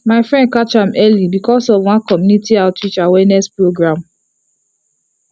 my friend catch am early because of one community outreach awareness program